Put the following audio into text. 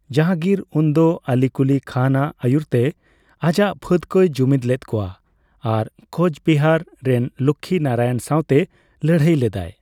ᱡᱟᱦᱟᱝᱜᱤᱨ ᱩᱱᱫᱚ ᱟᱞᱤ ᱠᱩᱞᱤ ᱠᱷᱟᱱ ᱟᱜ ᱟᱹᱭᱩᱨᱛᱮ ᱟᱡᱟᱜ ᱯᱷᱟᱹᱫᱽ ᱠᱚᱭ ᱡᱩᱢᱤᱫ ᱞᱮᱫ ᱠᱚᱣᱟ ᱟᱨ ᱠᱳᱪᱵᱤᱦᱟᱨ ᱨᱮᱱ ᱞᱚᱠᱠᱷᱤ ᱱᱟᱨᱟᱭᱚᱱ ᱥᱟᱣᱛᱮ ᱞᱟᱹᱲᱦᱟᱹᱭ ᱞᱮᱫᱟᱭ ᱾